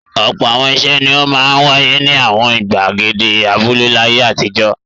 Ọ̀pọ̀ àwọn ìṣe ni ó máa ń wáyé ní àwọn ìgbàgede abúlé láyé àtijọ́.